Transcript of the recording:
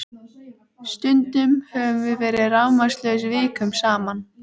Stundum höfum við verið rafmagnslaus vikum saman